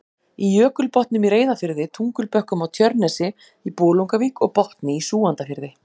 í Jökulbotnum í Reyðarfirði, Tungubökkum á Tjörnesi, í Bolungarvík og Botni í Súgandafirði.